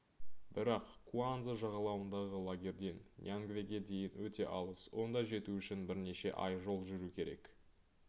бірақ куанза жағалауындағы лагерден ньянгвеге дейін өте алыс онда жету үшін бірнеше ай жол жүру керек